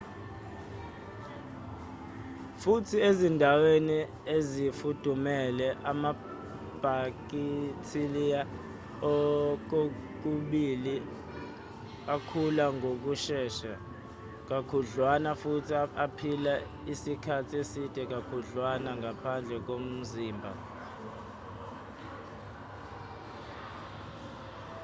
futhi ezindaweni ezifudumele amabhakithiliya kokubili akhula ngokushesha kakhudwlana futhi aphila isikhathi eside kakhudlwana ngaphandle komzimba